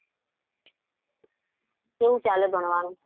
કેવું ચાલે ભણવાનું?